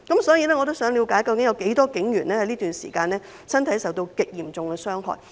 所以，我也想了解，究竟這段時間有多少名警員的身體受到極嚴重傷害？